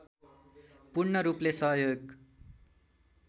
पूर्णरूपले सहयोग